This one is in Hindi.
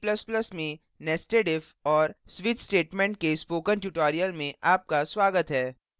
c और c ++ में nested if और switch statements के spoken tutorial में आपका स्वागत है